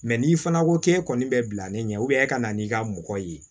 n'i fana ko k'e kɔni bɛ bila ni ɲɛ e ka na n'i ka mɔgɔ ye